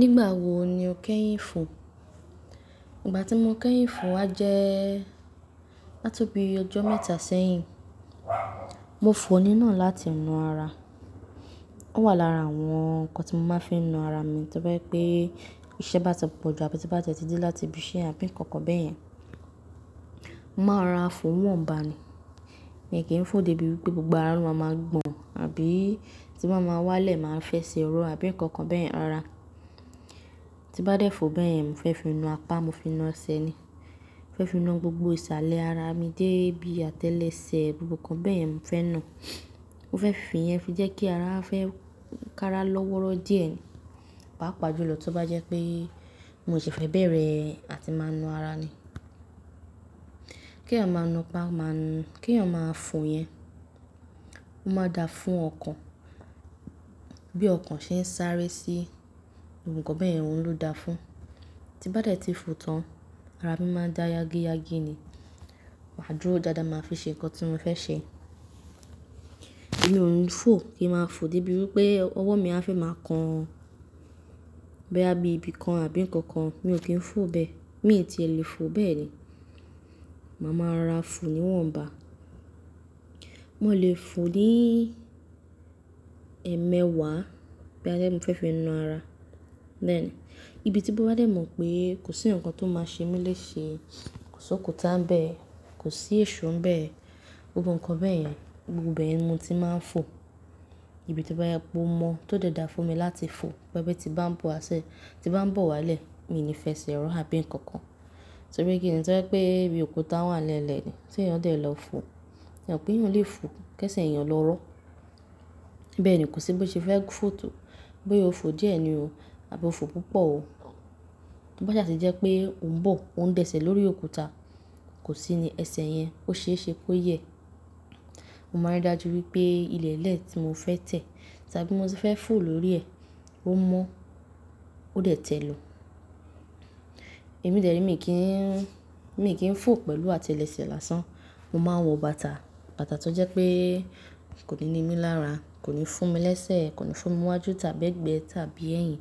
Nígbà wo ni o kẹ́yìn fò? Ìgbà tí mo kẹ́yìn fò á jẹ́ átobi ọjọ́ mẹ́ta sẹ́yìn. Mo fò ó nína láti na ara. Ó wà lára àwọn ǹkan tí mo máa ń fi na ara mi to bàjẹ́ pé iṣẹ́ bá ti pọ̀ ju àbí tí n bá ti e tí de láti ibi iṣẹ́ àbí nǹkan kan bẹ́yẹn, mo màá rara fò wọ̀nba ni. Èmi kì í fò débi wípé gbogbo ara lo máa ma gbọ̀n àbí tí máa ma wálẹ̀ máa fẹ́ se oró àbí ǹkan kan bẹ́yẹn rara. Tí bá dé fò bẹ́yẹn, mo fẹ́ fi nu apá mo fi na ẹsẹ̀ ni. Mo fẹ́ fi nu gbogbo ìsàlẹ̀ ara mi dé ibi àtẹ́lẹsẹ̀, gbogbo ǹkan bẹ́yẹn mo fẹ́ nu. Mo fẹ́ fi yẹn fi jẹ́ kí ara fẹ́ kára lọ́wọ́rọ́ díẹ̀ pá pàjùlọ tó bá jẹ́ pé mo sì fẹ́ bẹ̀rẹ̀ àti máa nu ara ni. Kí èèyàn máa nu pa máa nu, kí èèyàn máa fò yẹn, ó máa da fún ọkàn. Bí ọkàn ṣe ń sáré sí ohun kan bẹ́yẹn, òun ló da fún. Tí bá dé tí fò tán, ara mi máa ń dá yágíyágí ni, màá dúró dáadáa, màá fi ṣe ǹkan tí mo fẹ́ ṣe. Èmi ò ní fò kí ń máa fò débi wípé ọwọ́ mi á fẹ́ máa kan bóyá ẹbí kan àbí ǹkan kan, mi ò kí ń fò bẹ́ẹ̀. Mi ò tí è lè fò bẹ́ẹ̀ ni. Màá ma ra fò ní wọ̀nba. Mo lè fò ní ẹ̀mẹwàá bí bá jẹ́ mo fẹ́ fi nu ara. Bẹ́ẹ̀ ni. Ibi tí mo bá dé mọ̀ pé kò sí ǹkan tó máa ṣe mí léṣe, kò sí òkúta ń bẹ, kò sí èṣó ń bẹ, gbogbo ǹkan bẹ́yẹn, gbogbo bẹ̀ yi ni mò tí màá ń fò, ibi tí bá yẹ kó mọ̀ tó dé dá fún mi láti fò, bó bá ti bá ń bọ́ asẹ, tí bá ń bọ̀ wálẹ̀, mi ni fẹ́ se ró àbí ǹkan kan. Torí pé kí ni, torí pé bí òkúta wà lẹ́lẹ̀ ni, ti yàn dé lọ fò? Ìyẹn pé èèyàn lè fò kí ẹsẹ̀ èèyàn lọ rọ́. Bẹ́ẹ̀ ni, kò sí bí ó ṣe fẹ́ fò tó, bóyá o fò díẹ̀ ni o àbí o fò púpọ̀ o. Tí bá sẹ́ tí jẹ́ pé ò ń bọ̀, ò ń bẹ̀sẹ̀ lórí òkúta, kò sí ní ẹsẹ̀ yẹn, ó ṣe é ṣe kó yẹ. Mo máa rí dájú wípé ilẹ̀ẹ́lẹ̀ tí mo fẹ́ tẹ̀ tàbí mo fẹ́ fò lórí ẹ̀, ó mọ́, ó dé tẹ̀ lọ. Èmi dẹ̀ ẹ́ mi kì í, mi kì í fò pẹ̀lú àtẹ́lẹsẹ̀ lásán. Mo máa ń wọ bàtà. Bàtà tó jẹ́ pé kò ní ni mí lára, kò ní fún mi lẹ́sẹ̀, kò ní fún mi wájú tàbí ẹ̀gbẹ́ tàbí ẹ̀yìn.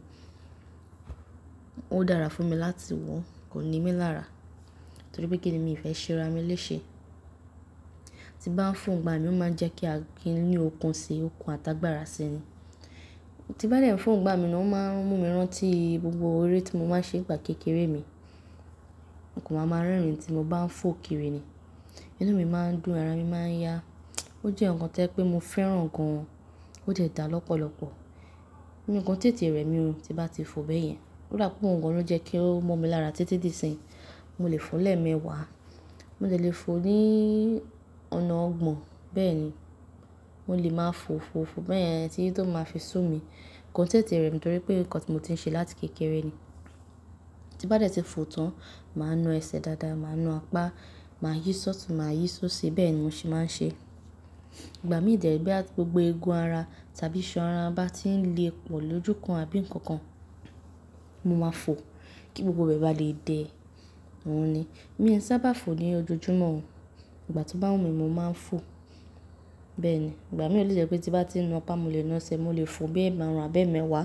Ó dára fún mi láti wọ̀, kò ní mi lára. Torí pé kí ni mi fẹ́ ṣe ra mí léṣe? Tí bá ń fò ń gba mi ó máa ń jẹ́ kí a gé inú ọkùn ṣe, ọkùn àtàgbàrà ṣe ni. Tí bá dé ń fò ń gba mi ni ó máa ń mú mi rántí gbogbo orí tí mo máa ń ṣe ìgbà kékeré mi. Òǹkùn máa ma rẹ́rìn tí mo bá ń fò kiri ni. Inú mi máa ń dùn, ara mi máa ń yá. Ó jẹ́ ǹkan tí ẹ pé mo fẹ́ràn gan an. Ó jẹ́ dá lọ́pọ̀lọpọ̀. Ǹkan tètè rẹ̀ mi ò ti bá ti fò bẹ́yẹn. Ó dàpọ̀ ọ́wu gan ló ń jẹ́ kí ó mọ́ mi lára tètè dí sẹ́yìn. Mo lè fò lẹ́ẹ̀mẹwàá, mo lè lè fò ní ọ̀nà ọgbọ̀n. Bẹ́ẹ̀ ni. Mo lè máa fò, fò, fò bẹ́yẹn tí tó máa fi sú mi. Ko tètè rẹ̀ mi torí pé ǹkan tí mo ti ń ṣe láti kékeré ni. Tí bá dé tí fò tán, màá nu ẹsẹ̀ dáadáa, màá nu apá, màá yí ṣọtu, màá yí ṣó ṣe, bẹ́ẹ̀ ni mo ṣe máa ń ṣe. Ìgbà míì dẹ̀ ẹ́ bí gbogbo eegun ara tàbí iṣẹ́ ara bá ti ń le pọ̀ lójú kan àbí ǹkan kan, mo máa fò kí gbogbo bẹ́ẹ̀ bá lè dẹ òun ni. Mi sábà fò ní ojojúmọ́ o. Ìgbà tó bá wù mí, mo máa ń fò. Bẹ́ẹ̀ ni. Ìgbà mìíràn lè jẹ́ pé tí bá ti nu apá, mo lè na ẹsẹ̀, mo lè fò bí ẹ̀ màrùn àbẹ́ẹ̀mẹwàá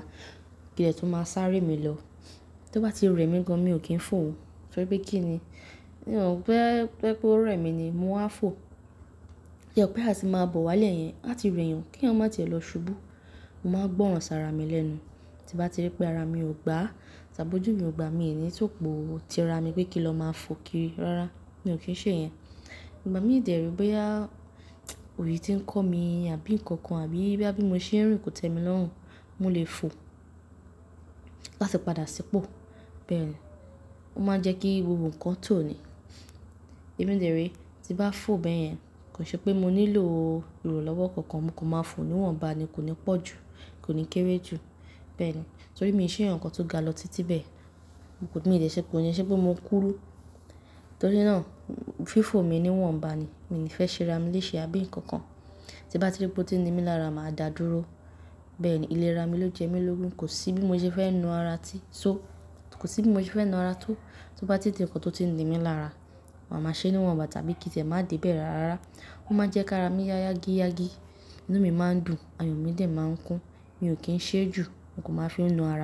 kíni tò máa sáré mi lọ. Tí ó bá ti rẹ̀ mi gan, mi ò kí ń fò ó. Torí pé kí ni? Ìyẹn ò pé pé kó rẹ̀ mi ni, mo á fò. Ìyẹn pé àti máa bọ̀ wálé yẹn, àti rẹ́ yàn kí ẹ̀yàn má ti è lọ ṣubú. Mo máa gbọ́ràn sá ara mi lẹ́nu. Tí bá ti rí pé ara mi ò gba tàbí ojú mi ò gba, mi ò ní tòpò ti ara mi pé kí lọ máa fò kiri. Rárá, mi ò kí ń ṣe yẹn. Ìgbà míì dẹ̀ ẹ́ rí bóyá òye tí ń kọ́ mi àbí ǹkan kan àbí bí bá bí mo ṣe rìn kò tẹ́mi lọ́hùn, mo lè fò láti padà ṣípò. Bẹ́ẹ̀ ni. Ó máa ń jẹ́ kí gbogbo ǹkan tó ni. Èmi dẹ̀ ẹ́ rí tí bá fò bẹ́yẹn, kò ṣe pé mo nílò ìrọ̀lẹ́ ọ̀kọ̀ọ̀kan. Mo kò máa fò ní wọ̀nba ni, kò ní pọ̀ jù, kò ní kéré jù. Bẹ́ẹ̀ ni. Torí mi ò ṣe ǹkan tó ga lọ títí bẹ́ẹ̀. Mo kò ní lè ṣe pé ó yẹ, ṣe pé mo kúrú. Torí náà fí fò mi ní wọ̀nba ni. Mi ò ní fẹ́ ṣe ra mí léṣe àbí ǹkan kan. Tí bá ti rí pé ó ti ń ni mí lára, màá dáa dúró. Bẹ́ẹ̀ ni. Ilé ra mi ló jẹ́ mi lógun. Kò sí bí mo ṣe fẹ́ nu ara tí, so, kò sí bí mo ṣe fẹ́ nu ara tó, tó bá ti di ǹkan tó ti ń ni mí lára. Màá ma ṣe ni wọ̀nba tàbí kí te máa di bẹ́ẹ̀ rárá. Ó máa ń jẹ́ kí ara mi yágíyágí, inú mi máa ń dùn, ayùn mi dẹ̀ máa ń kún. Mi ò kí ń ṣe é jù. Mo kò máa fi nu ara mi.